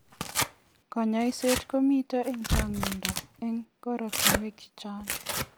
Kanyaishet komitei eng changindo eng koratunuek che chang.